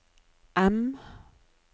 M